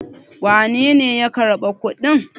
wanene ya karɓi kuɗin?